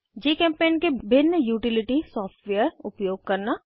जीचेम्पेंट के भिन्न utility software उपयोग करना